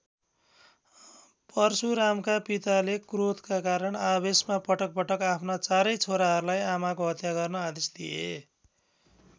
परशुरामका पिताले क्रोधका कारण आवेशमा पटक पटक आफ्ना चारै छोराहरूलाई आमाको हत्या गर्न आदेश दिए।